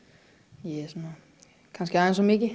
ég er kannski aðeins of mikið